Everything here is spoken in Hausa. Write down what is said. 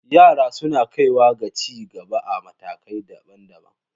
Yara suna kaiwa ga ci gaba a matakai daban-daban.